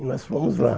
E nós fomos lá.